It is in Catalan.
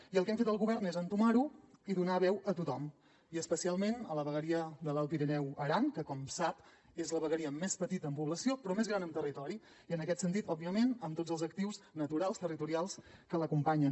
i el que hem fet el govern és entomar ho i donar veu a tothom i especialment a la vegueria de l’alt pirineu i aran que com sap és la vegueria més petita en població però més gran en territori i en aquest sentit òbviament amb tots els actius naturals territorials que l’acompanyen